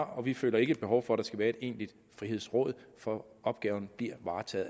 og vi føler ikke et behov for at der skal være et egentligt frihedsråd for opgaven bliver